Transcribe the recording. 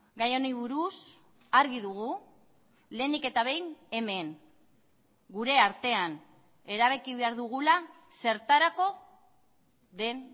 gai honi buruz argi dugu lehenik eta behin hemen gure artean erabaki behar dugula zertarako den